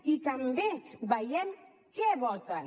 i també veiem què voten